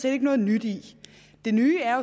ikke noget nyt i det nye er